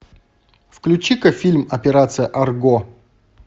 включи ка фильм операция арго